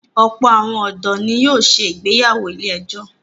Ọ̀pọ̀ àwọn ọ̀dọ́ ni yóò se ìgbéyàwó ilé-ẹjọ̀.